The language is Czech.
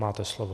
Máte slovo.